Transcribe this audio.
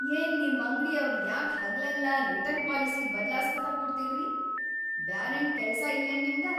ಯೇನ್‌ ನಿಮ್‌ ಅಂಗ್ಡಿಯವ್ರ್‌ ಯಾಕ್‌ ಹಗಲೆಲ್ಲಾ ರಿಟರ್ನ್‌ ಪಾಲಿಸಿ ಬದ್ಲಾಸ್ಕೋತ ಕೂಡ್ತೀರ್ರಿ.. ಬ್ಯಾರೇನ್‌ ಕೆಲ್ಸ ಇಲ್ಲೇನ್ ನಿಮ್ಗ?!